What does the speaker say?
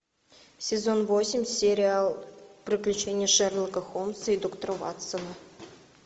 сезон восемь сериал приключения шерлока холмса и доктора ватсона